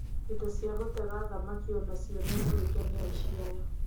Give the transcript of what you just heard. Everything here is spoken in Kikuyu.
Indo cia gũtega thamaki onacio nĩ mũrĩke nĩ aici aya.